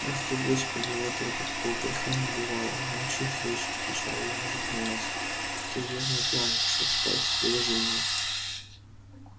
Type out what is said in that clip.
ахти господи отроду такого греха не бывало молчи хрыч отвечал я ему запинаясь ты верно пьян пошёл спать и уложи меня